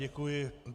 Děkuji.